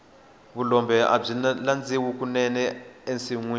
vulombe abyi landziwa kunene ensinyeni